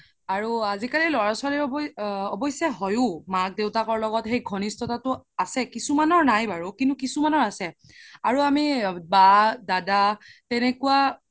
আৰু আজি কালি ল'ৰা ছোৱালিৰ অবশে হয়ো মা দেউতাকৰ লগত সেই ঘনিশ্ততাতো আছে কিছুমানৰ নাই বাৰো কিন্তু কিছুমানৰ আছে আৰু আমি বা দাদা তেনেকুৱা